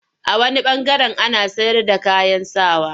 A wani ɓangaren ana sayarda kayan sa wa.